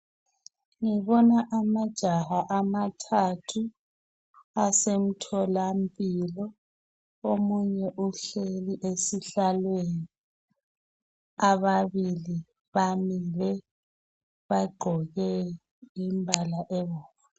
Ngibona amajaha amathathu asemtholampilo. Omunye uhleli esihlalweni, ababili bamile bagqoke imbala ebomvu.